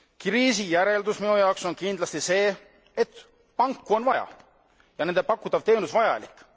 Kriisi järeldus minu jaoks on kindlasti see, et panku on vaja ja nende pakutav teenus vajalik.